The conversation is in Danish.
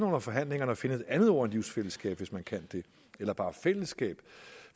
under forhandlingerne finder et andet ord end livsfællesskab hvis man kan det eller bare fællesskab